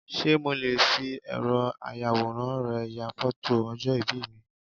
Sé mo le fi ẹ̀rọ ayàwòrán rẹ ya fótò ọjọ̀ ìbí mi